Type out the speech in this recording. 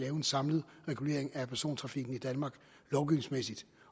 en samlet regulering af persontrafikken i danmark